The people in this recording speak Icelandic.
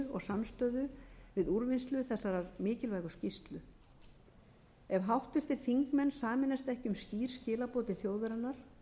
samstöðu við úrvinnslu þessarar mikilvægu skýrslu ef háttvirtir þingmenn sameinast ekki um skýr skilaboð til þjóðarinnar